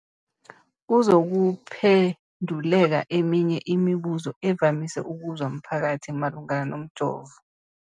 Kuzokuphenduleka eminye yemibuzo evamise ukubuzwa mphakathi malungana nomjovo.